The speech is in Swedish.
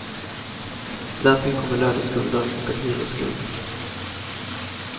Därtill kommer löneskulder och en hyresskuld.